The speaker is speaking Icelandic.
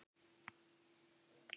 Enn var von!